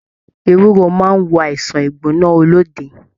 Ewúro máà n wo àìsàn igbona olóde.